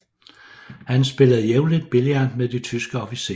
Han spillede jævnligt billard med de tyske officerer